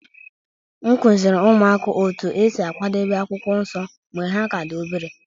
M kụziiri ụmụaka otú e si akwadebe akwụkwọ nsọ mgbe ha ka dị obere